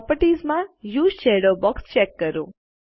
properties માં use shadow box check કરો